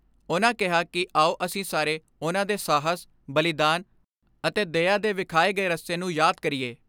ਉਨ੍ਹਾਂ ਕਿਹਾ ਕਿ ਆਓ ਅਸੀਂ ਸਾਰੇ ਉਨ੍ਹਾਂ ਦੇ ਸਾਹਸ, ਬਲੀਦਾਨ ਅਤੇ ਦਇਆ ਦੇ ਵਿਖਾਏ ਗਏ ਰਸਤੇ ਨੂੰ ਯਾਦ ਕਰੀਏ।